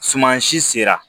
Suman si sera